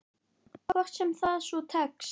Hvort sem það svo tekst.